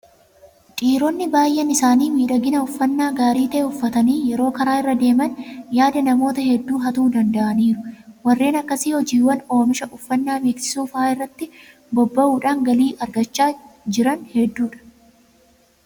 Dhiironni baay'een isaanii miidhagina uffannaa gaarii ta'e uffatanii yeroo karaa irra deeman yaada namoota hedduu hatuu danda'aniiru. Warreen akkasii hojiiwwan oomisha uffannaa beeksisuu fa'aa irratti bobba'uudhaan galii kan argachaa jiran hedduudha.